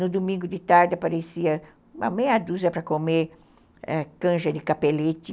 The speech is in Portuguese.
No domingo de tarde aparecia uma meia dúzia para comer ãh canja de capelete.